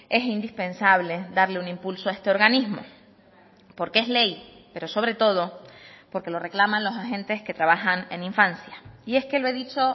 es indispensable darle un impulso a este organismo porque es ley pero sobre todo porque lo reclaman los agentes que trabajan en infancia y es que lo he dicho